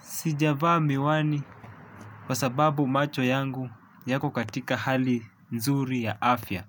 Sijavaa miwani kwa sababu macho yangu yako katika hali nzuri ya afya